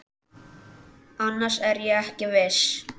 Annars er ég ekki viss.